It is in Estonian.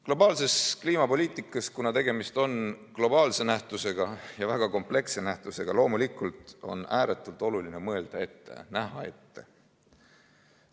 Globaalses kliimapoliitikas – tegemist on ju globaalse nähtusega, ja väga kompleksse nähtusega –, on loomulikult ääretult oluline mõelda ette, näha ette.